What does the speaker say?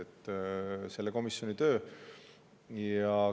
See on selle komisjoni töö.